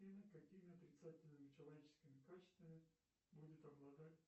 какими отрицательными человеческими качествами будет обладать